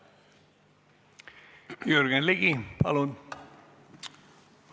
Jürgen Ligi, palun!